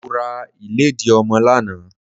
Mo ra ìlédìí ọmọ lánàá.